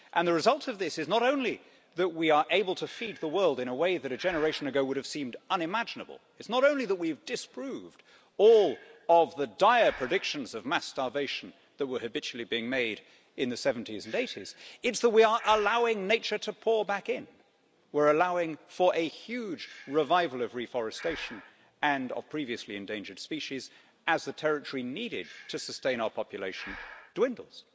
The result of this is not only that we are able to feed the world in a way that a generation ago would have seemed unimaginable, it is not only that we have disproved all of the dire predictions of mass starvation that were habitually being made in the 70s and 80s, it is that we are allowing nature to pour back in, we're allowing for a huge revival of reforestation and of previously endangered species as the territory needed to sustain our population dwindles.